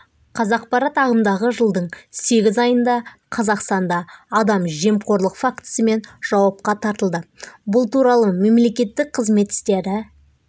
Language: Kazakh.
қазақпарат ағымдағы жылдың сегіз айында қазақстанда адам жемқорлық фактісімен жауапқа тартылды бұл туралы мемлекеттік қызмет істері